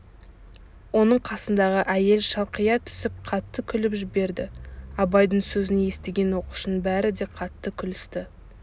оның қасындағы әйел шалқия түсіп қатты күліп жберді абайдың сөзін естіген оқушының бәрі де қатты күлісті